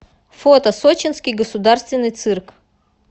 фото сочинский государственный цирк